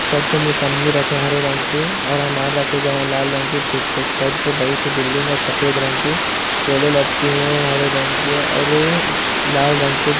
Sir पे मौसमी रखे है। हरे रंग की और अनार रखे गए है लाल रंग के पीछे एक साइड पर बड़ी सी बिल्डिंग है सफ़ेद रंग की केले लटके हुए है हरे रंग के और लाल रंग के --